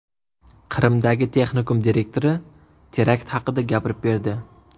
Qrimdagi texnikum direktori terakt haqida gapirib berdi .